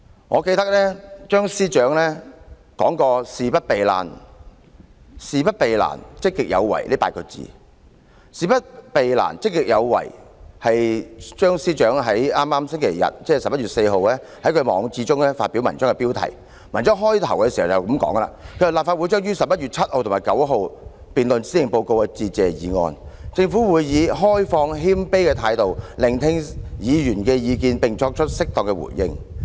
我記得張司長說過"事不避難，積極有為"這8個字，這是張司長在11月4日星期日在網誌中發表文章的標題；文章起始部分是這樣寫的："立法會將於11月7日至11月9日辯論施政報告的致謝議案，政府會以開放謙卑的態度，聆聽議員的意見，並作出適當的回應。